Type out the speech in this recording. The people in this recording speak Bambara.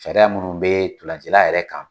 Sariya munnu be dolancila yɛrɛ kan